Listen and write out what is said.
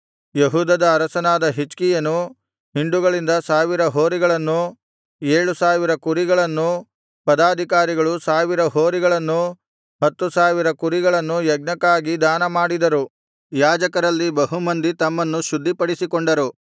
ಹೂದದ ಅರಸನಾದ ಹಿಜ್ಕೀಯನು ಹಿಂಡುಗಳಿಂದ ಸಾವಿರ ಹೋರಿಗಳನ್ನೂ ಏಳು ಸಾವಿರ ಕುರಿಗಳನ್ನೂ ಪದಾಧಿಕಾರಿಗಳು ಸಾವಿರ ಹೋರಿಗಳನ್ನೂ ಹತ್ತು ಸಾವಿರ ಕುರಿಗಳನ್ನೂ ಯಜ್ಞಕ್ಕಾಗಿ ದಾನಮಾಡಿದರು ಯಾಜಕರಲ್ಲಿ ಬಹು ಮಂದಿ ತಮ್ಮನ್ನು ಶುದ್ಧಿಪಡಿಸಿಕೊಂಡರು